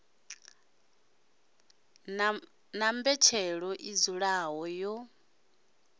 na mbetshelo i dzulaho yo